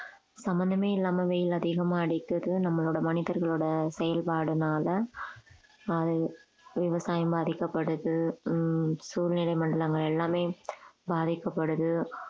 சம்பந்தமே இல்லாம வெயில் அதிகமா அடிக்கிறது நம்மளோட மனிதர்களோட செயல்பாடுனால அது விவசாயம் பாதிக்கப்படுது ஹம் சூழ்நிலை மண்டலங்கள் எல்லாமே பாதிக்கப்படுது